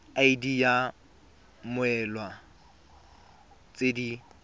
id ya mmoelwa tse di